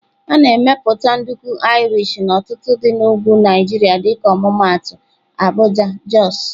A na-emepụta nduku Irish n'ọtụtụ dị na ugwu Nigeria dịka ọmụmaatụ Abuja, Jos.